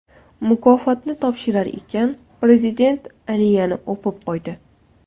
Mukofotni topshirar ekan Prezident Aliyani o‘pib qo‘ydi.